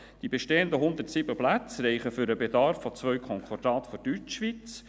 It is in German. Die bestehenden 107 Plätze reichen für den Bedarf von zwei Konkordaten der Deutschschweiz.